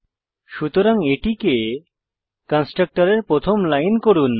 সুতরাং এটিকে কন্সট্রকটরের প্রথম লাইন করুন